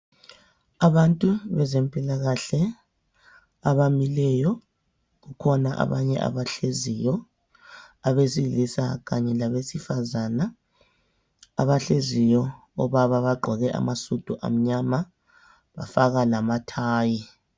Abantu bezempilakahle abamileyo, kukhona abanye abahleziyo abesilisa kanye labesifazana abahleziyo, obaba bagqoke amasudu amnyama bafaka lamathayi.